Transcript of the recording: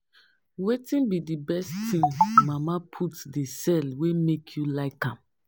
Wetin be di best thing mama Put dey sell wey make you like am?